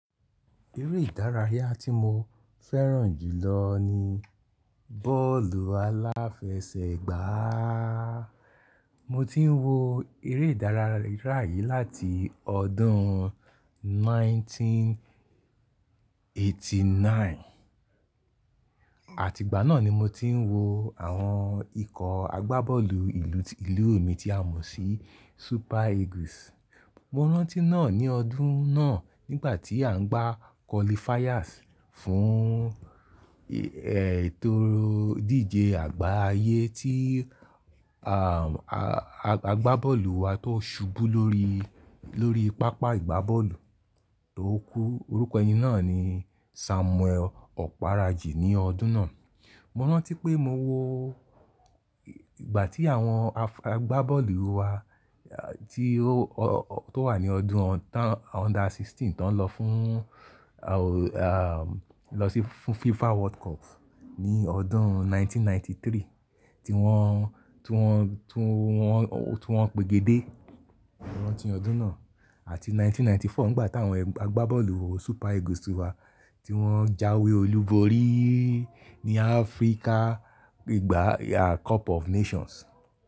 Eré ìdárayá tí mo fẹ́ràn jù lọ ni bọ́ọ̀lù aláfẹsẹ̀gbá. Mo ti ń wo eré ìdárayá yìí láti ọdún ẹgbẹ̀rún kan ó lé ọgọ́rùn-ún mẹ́sàn-án ó lé ọ̀kàndínlọ́gọ́rùn-ún. Àtìgbà náà ni mo ti ń wo àwọn ikọ̀ agbábọ́ọ̀lù ìlú mi tí a mọ̀ sí Super Eagles. Mo rántí náà ní ọdún náà nígbà tí à ń gbá qualifiers fún, ẹ, ètò ìdíje àgbáyé tí, a, a, agbábọ́ọ̀lù wa tó ṣubú lórí, lórí pápá ìgbábọ́ọ̀lù tó kú, orúkọ ẹni náà ni Samuel Okparaji ní ọdún náà. Mo rántí pé mo wo ìgbà tí àwọn a, agbábọ́ọ̀lù wa tí ó, tó wà ní ọdún under sixteen tó ń lọ fún, a, lọ sí fún FIFA World Cup ní ọdún ẹgbẹ̀rún kan ó lé ọgọ́rùn-ún mẹ́sàn-án ó lé ẹ́tàlélọ́gọ́rùn-ún tí wọ́n, tí wọ́n, tí wọ́n, tí wọ́n gbégedé. Mo rántí ọdún náà àti ẹgbẹ̀rún kan ó lé ọgọ́rùn-ún mẹ́sàn-án ó lé mẹ́rìnlélọ́gọ́rùn-ún nígbà tí àwọn agbábọ́ọ̀lù Super Eagles wa tí wọ́n jáwé olúborí ní Africa ìgbà Cup of Nations.